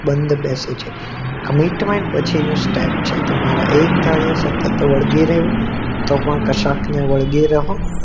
બંધ બેસે છે commetment પછી નો સ્ટેપ છે તમારે એક ધારા સતત વળગી રેહવું તો પણ કસક ને વળગી રેસે